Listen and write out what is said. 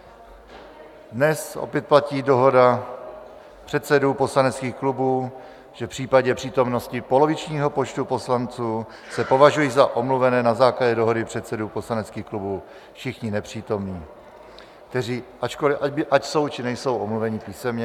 Dnes opět platí dohoda předsedů poslaneckých klubů, že v případě přítomnosti polovičního počtu poslanců se považují za omluvené na základě dohody předsedů poslaneckých klubů všichni nepřítomní, ať jsou, či nejsou omluveni písemně.